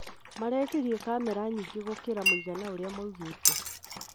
Marekerire kamera nyingĩ gũkĩra mũigana ũrĩa maraugĩte